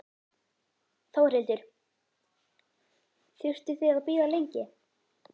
Þórhildur: Þurftuð þið að bíða lengi?